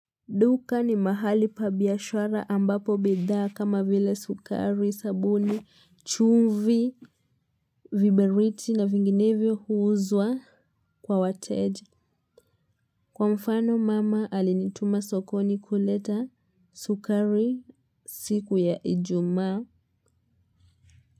Duka ni mahali pa biashara ambapo bidhaa kama vile sukari, sabuni, chumvi, viberiti na vinginevyo huuzwa kwa wateja. Kwa mfano mama alinituma sokoni kuleta sukari siku ya ijumaa.